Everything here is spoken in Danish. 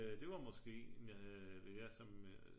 Det var måske altså